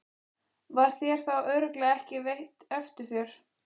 Var þér örugglega ekki veitt eftirför?